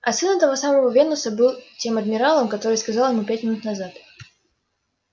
а сын этого самого венуса и был тем адмиралом который сказал ему пять минут назад